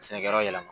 Sɛnɛkɛyɔrɔ yɛlɛma